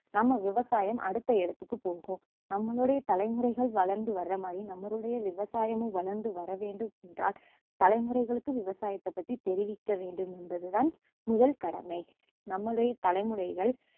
நம்ம விவசாயம் அடுத்த இடத்துக்கு போகும் நம்மளுடைய தலைமுறைகள் வளர்ந்து வர்றமாதிரி நம்மளுடைய விவசாயமும் வளர்ந்து வர வேண்டுமென்றால் தலைமுறைகளுக்கு விவசாயத்த பத்தி தெரிவிக்க வேண்டும் என்பதுதான் முதல் கடமை நம்மளுடைய தலைமுறைகள்